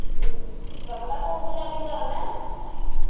ਸਪਨਾ ਤੂੰ ਕੀ ਦੇ ਪੀ ਕਰਨ?